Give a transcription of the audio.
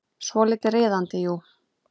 Svolítið riðandi, jú.